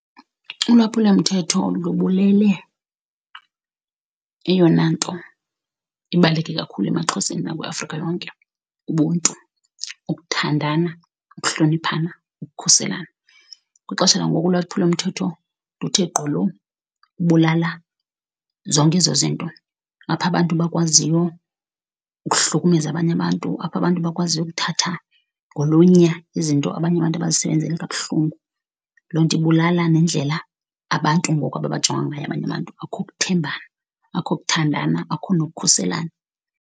Ulwaphulomthetho lubulele eyona nto ibaluleke kakhulu emaXhoseni nakwiAfrika yonke ubuntu, ukuthandana, ukuhloniphana, ukukhuselana. Kwixesha langoku ulwaphulomthetho luthe gqolo ukubulala zonke ezo zinto, apho abantu bakwaziyo ukuhlukumeza abanye abantu, apho abantu bakwaziyo ukuthatha ngolunya izinto abanye abantu abazisebenzele kabuhlungu. Lo nto ibulala nendlela abantu ngoku ababajonga ngayo abanye abantu. Akho kuthembana, akho kuthandana, akho nokukhuselana.